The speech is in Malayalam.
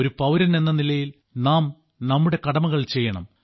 ഒരു പൌരൻ എന്ന നിലയിൽ നാം നമ്മുടെ കടമകൾ ചെയ്യണം